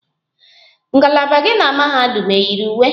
Ngalaba gị na mahadum eyiri uwe?